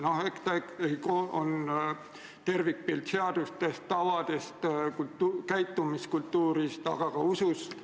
Eks ta on ikkagi tervikpilt seadustest, tavadest, käitumiskultuurist, aga ka usust.